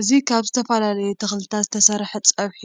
እዚ ካብ ዝተፈላለዩ ተክልታት ዝተሰሐ ፀብሒ